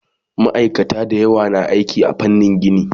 Maaikata da yawa na aiki a fannin gini